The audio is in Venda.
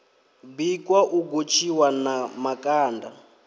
bikwa u gotshiwa na makanda